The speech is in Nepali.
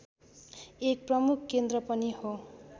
एक प्रमुख केन्द्र पनि हो